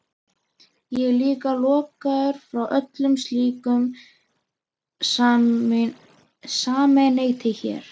Ég er líka lokaður frá öllu slíku samneyti hér.